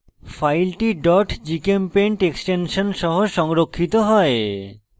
file gchempaint extension সহ সংরক্ষিত হয়